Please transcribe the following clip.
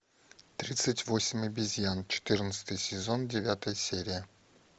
тридцать восемь обезьян четырнадцатый сезон девятая серия